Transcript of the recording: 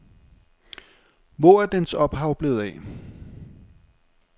Hvor er dens ophav blevet af.